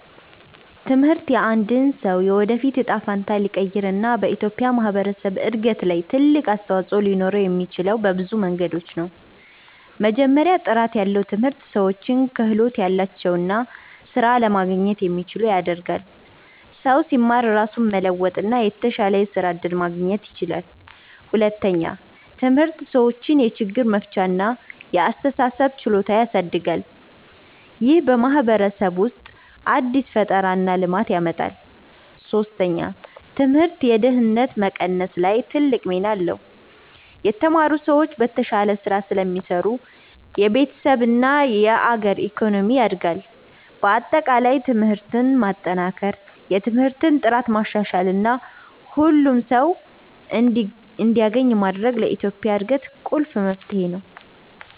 ትምህርት የአንድን ሰው የወደፊት እጣ ፈንታ ሊቀይር እና በኢትዮጵያ ማህበረሰብ እድገት ላይ ትልቅ አስተዋፅኦ ሊኖረው የሚችለው በብዙ መንገዶች ነው። መጀመሪያ፣ ጥራት ያለው ትምህርት ሰዎችን ክህሎት ያላቸው እና ስራ ለማግኘት የሚችሉ ያደርጋል። ሰው ሲማር ራሱን መለወጥ እና የተሻለ የስራ እድል ማግኘት ይችላል። ሁለተኛ፣ ትምህርት ሰዎችን የችግር መፍቻ እና የአስተሳሰብ ችሎታ ያሳድጋል። ይህ በማህበረሰብ ውስጥ አዲስ ፈጠራ እና ልማት ያመጣል። ሶስተኛ፣ ትምህርት የድህነት መቀነስ ላይ ትልቅ ሚና አለው። የተማሩ ሰዎች በተሻለ ስራ ስለሚሰሩ የቤተሰብ እና የአገር ኢኮኖሚ ያድጋል። በአጠቃላይ ትምህርትን ማጠናከር፣ የትምህርት ጥራትን ማሻሻል እና ሁሉም ሰው እንዲያገኝ ማድረግ ለኢትዮጵያ እድገት ቁልፍ መፍትሄ ነው።